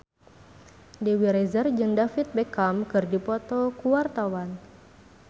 Dewi Rezer jeung David Beckham keur dipoto ku wartawan